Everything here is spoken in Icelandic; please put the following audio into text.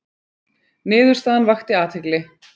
Niðurstaðan vakti athygli